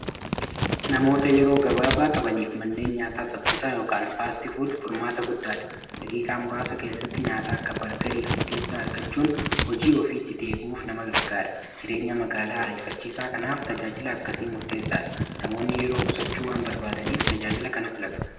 namoota yeroo gabaabaa qabaniif manneen nyaataa saphisaa y aasti fuud furmaata guddaadha dagiikaa muraasa keessatti nyaataa akka bargarii f hipiisaa argachuun hojii ofiitti deebuuf nama rgaara jireenya magaalaa ariifachiisaa kanaaf tajaajila akkasii murteessaa dha namoonni yeroo qusachu waan barbaadaniif tajaajila kana filatu